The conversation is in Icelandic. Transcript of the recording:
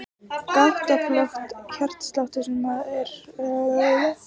Gáttaflökt er hjartsláttartruflun sem stafar af hringrás boðspennu í hjartagáttum.